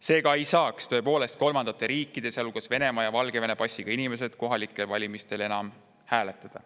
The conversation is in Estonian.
Seega, tõepoolest kolmandate riikide, sealhulgas Venemaa ja Valgevene passiga inimesed ei saaks enam kohalikel valimistel hääletada.